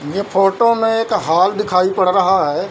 ये फोटो में एक हॉल दिखाई पड़ रहा है।